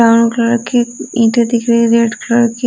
brown colour की ईटे दिख रही है रेड कलर की --